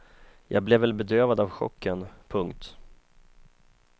Jag blev väl bedövad av chocken. punkt